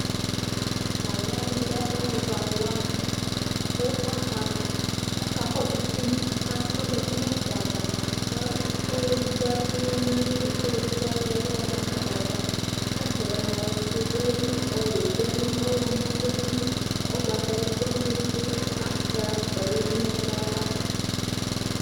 T'aluwani lɛ aluvɛ aluwani, ku aka kɔsu tivi k'azati nu adava, k' ɔlu edigbo adu uwɔ n'alɛli n'ɔlu edigbo ayɔ uwɔ yɔ ma n'adava, adaɛ mua ofue du ayili ɔwɛ du ayili, ɔwlɔmɔ du ayili, ugbatawla du ayili ku afukpa yadu n'ɛkplɔ ava